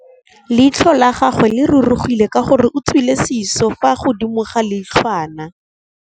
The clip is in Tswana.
Leitlhô la gagwe le rurugile ka gore o tswile sisô fa godimo ga leitlhwana.